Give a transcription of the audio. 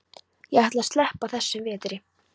Ég ætla að sleppa þessum vetri.